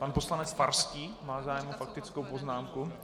Pan poslanec Farský má zájem o faktickou poznámku?